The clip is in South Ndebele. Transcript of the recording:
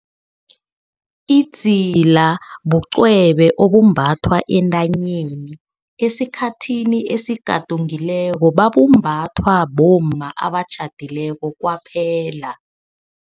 Idzila bucwebe obumbathwa entanyeni. Esikhathini esigadungileko, babumbathwa bomma abatjhadileko kwaphela.